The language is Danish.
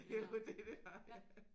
Jamen det er det